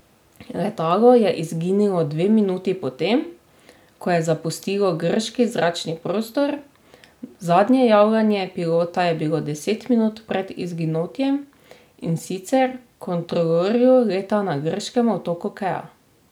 Letalo je izginilo dve minuti po tem, ko je zapustilo grški zračni prostor, zadnje javljanje pilota je bilo deset minut pred izginotjem, in sicer kontrolorju leta na grškem otoku Kea.